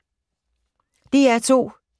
DR2